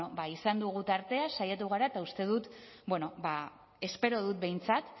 bueno ba izan dugu tartea saiatu gara eta uste dut espero dut behintzat